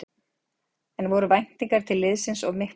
En voru væntingar til liðsins of miklar?